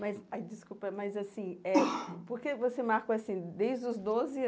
Mas, ai desculpa, mas assim eh, por que você marcou assim, desde os doze